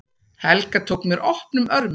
Helga tók mér opnum örmum.